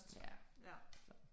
Ja, så